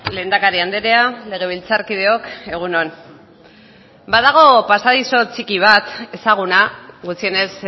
lehendakari andrea legebiltzarkideok egun on badago pasadizo txiki bat ezaguna gutxienez